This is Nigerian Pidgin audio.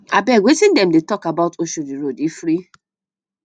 abeg wetin dem dey talk about oshodi road e free